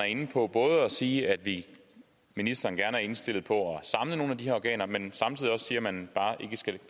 inde på både at sige at ministeren er indstillet på at samle nogle af de her organer men samtidig også siger at man bare skal